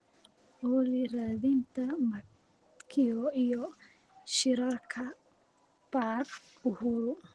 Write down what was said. olly raadinta matkio iyo shirarka park uhuru